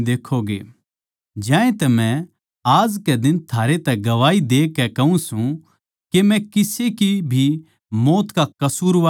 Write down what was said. ज्यांतै मै आज कै दिन थारै तै गवाही देकै कहूँ सूं के मै किसे की भी मौत का कसूरवार न्ही सूं